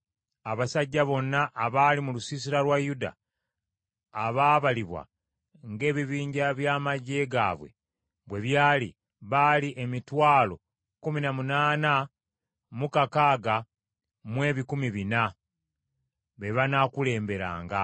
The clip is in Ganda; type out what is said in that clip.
Abasajja bonna abaali mu lusiisira lwa Yuda abaabalibwa ng’ebibinja by’amaggye gaabwe bwe byali baali emitwalo kkumi na munaana mu kakaaga mu ebikumi bina (186,400). Be banaakulemberanga.